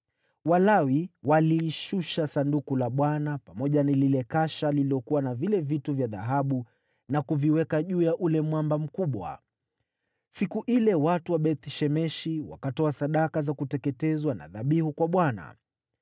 Walawi walilishusha Sanduku la Bwana , pamoja na lile kasha lililokuwa na vile vitu vya dhahabu na kuviweka juu ya ule mwamba mkubwa. Siku ile watu wa Beth-Shemeshi wakatoa sadaka za kuteketezwa na dhabihu kwa Bwana .